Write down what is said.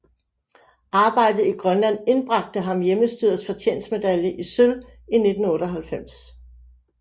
Arbejdet i Grønland indbragte ham Hjemmestyrets fortjenstmedalje i sølv i 1998